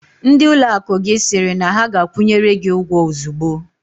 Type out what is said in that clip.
Ndị ụlọakụ gị sịrị na ha ga-akwụnyere gị ụgwọ ozugbo?